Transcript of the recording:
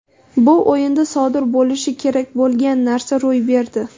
Bu o‘yinda sodir bo‘lishi kerak bo‘lgan narsa ro‘y berdi.